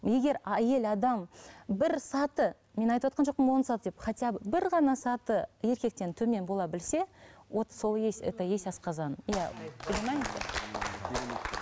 егер әйел адам бір саты мен айтывотқан жоқпын он саты деп хотя бы бір ғана саты еркектен төмен бола білсе вот сол есть это есть асқазан иә